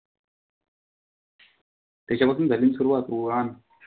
त्याच्या पासून झाली ना सुरुवात वुहान.